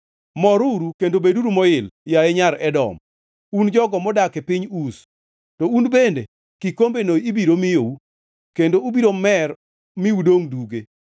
Moruru kendo beduru moil, yaye Nyar Edom, un jogo modak e piny Uz. To un bende, kikombeno ibiro miyou; kendo ubiro mer mi udongʼ duge.